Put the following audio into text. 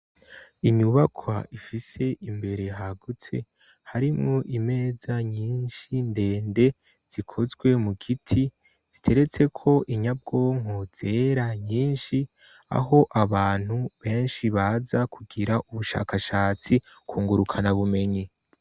Inyubakwa ifise imbere hagutse, harimwo imeza nyinshi ndende zikozwe mu giti ziteretse ko inyabwonko zera nyinshi, aho abantu benshi baza kugira ubushakashatsi kungurukana bumenyi.